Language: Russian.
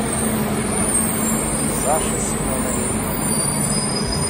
саше семенове